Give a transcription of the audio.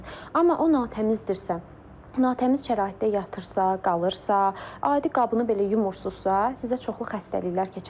Amma o natəmizdirsə, natəmiz şəraitdə yatırsa, qalırsa, adi qabını belə yumursunuzsa, sizə çoxlu xəstəliklər keçə bilər.